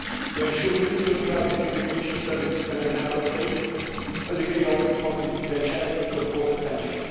To ensure mutual trust between the Commission services and the Member States, a degree of confidentiality is of course essential.